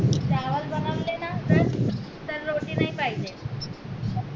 चावलं बनवले ना त रोटी नाय पाहिजे